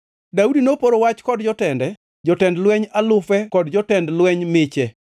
Daudi noporo wach kod jotende, jotend lweny alufe kod jotend lweny miche.